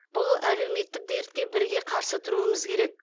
бұл әлеуметтік дертке бірге қарсы тұруымыз керек